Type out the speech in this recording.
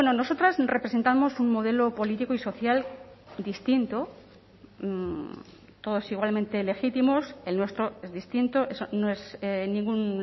nosotras representamos un modelo político y social distinto todos igualmente legítimos el nuestro es distinto eso no es ningún